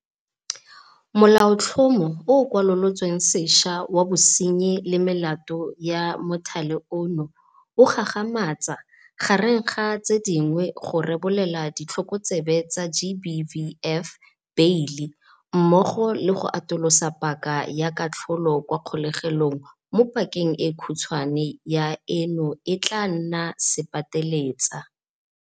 Molaotlhomo o o Kwalolotswe Sešwa wa Bosenyi le Melato ya Mothale ono o gagamatsa, gareng ga tse dingwe, go rebolela ditlhokotsebe tsa GBVF beile, mmogo le go atolosa paka ya katlholelo kwa kgolegong mo paka e khutshwane ya eno e tla nnang sepateletsa.